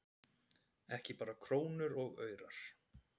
Ekki bara krónur og aurar